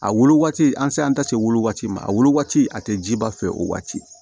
A wolo waati an se an ta te wolo waati ma a wolo waati a te jiba feere o waati